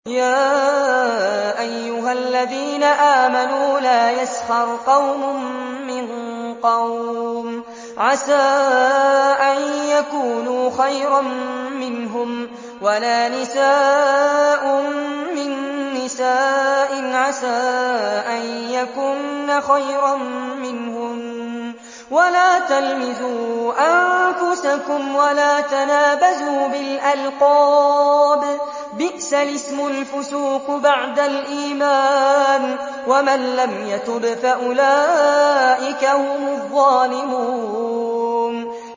يَا أَيُّهَا الَّذِينَ آمَنُوا لَا يَسْخَرْ قَوْمٌ مِّن قَوْمٍ عَسَىٰ أَن يَكُونُوا خَيْرًا مِّنْهُمْ وَلَا نِسَاءٌ مِّن نِّسَاءٍ عَسَىٰ أَن يَكُنَّ خَيْرًا مِّنْهُنَّ ۖ وَلَا تَلْمِزُوا أَنفُسَكُمْ وَلَا تَنَابَزُوا بِالْأَلْقَابِ ۖ بِئْسَ الِاسْمُ الْفُسُوقُ بَعْدَ الْإِيمَانِ ۚ وَمَن لَّمْ يَتُبْ فَأُولَٰئِكَ هُمُ الظَّالِمُونَ